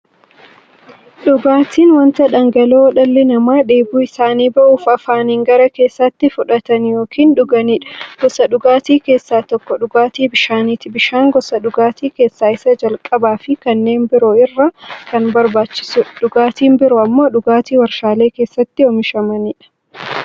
Dhugaatiin wanta dhangala'oo dhalli namaa dheebuu isaanii ba'uuf, afaaniin gara keessaatti fudhatan yookiin dhuganiidha. Gosoota dhugaatii keessaa tokko dhugaatii bishaaniti. Bishaan gosa dhugaatii keessaa isa jalqabaafi kanneen biroo irra kan barbaachisuudha. Dhugaatiin biroo immoo dhugaatii waarshalee keessatti oomishamaniidha.